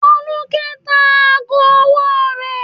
Folúkẹ́ tá aago ọwọ́ rẹ̀.